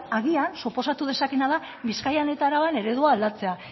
agian suposatu dezakeena da bizkaian eta araban eredua aldatzea